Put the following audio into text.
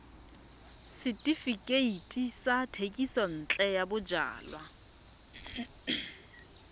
setefikeiti sa thekisontle ya bojalwa